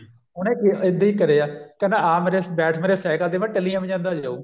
ਉਹਨੇ ਇੱਦਾਂ ਹੀ ਕਰਿਆ ਕਹਿੰਦਾ ਆ ਮੇਰੇ ਬੈਠ ਮੇਰੇ cycle ਤੇ ਮੈਂ ਟੱਲੀਆਂ ਵਜਾਂਦਾ ਜਾਉ